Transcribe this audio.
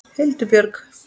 Hildur Björg.